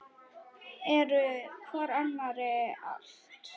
Eru hvor annarri allt.